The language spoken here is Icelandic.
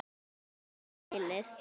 Aftur heyrði hann vælið.